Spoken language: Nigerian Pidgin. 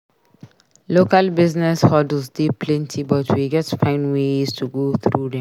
Local business hurdles dey plenty but we gats find ways to go through dem.